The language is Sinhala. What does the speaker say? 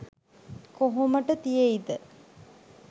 කොහොමට තියෙයිද?